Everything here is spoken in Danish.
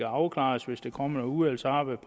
afklares hvis der kommer et udvalgsarbejde